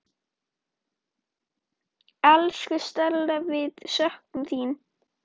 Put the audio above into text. Elsku Stella, við söknum þín.